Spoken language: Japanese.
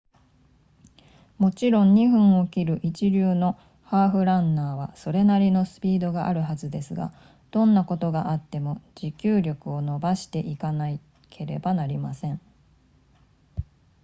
もちろん2分を切る一流のハーフランナーはそれなりのスピードがあるはずですがどんなことがあっても持久力を伸ばしていかなければなりません